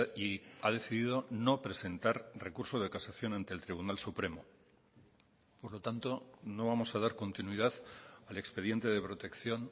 y ha decidido no presentar recurso de casación ante el tribunal supremo por lo tanto no vamos a dar continuidad al expediente de protección